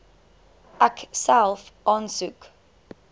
ek self aansoek